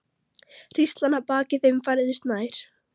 Hríslan að baki þeim færðist nær.